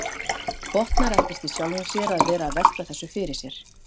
Botnar ekkert í sjálfum sér að vera að velta þessu fyrir sér.